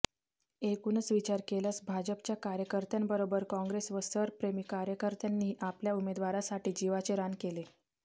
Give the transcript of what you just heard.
एकूणच विचार केल्यास भाजपच्या कार्यकर्त्यांबरोबर काँग्रेस व सरप्रेमी कार्यकर्त्यांनीही आपल्या उमेदवारासाठी जीवाचे रान केले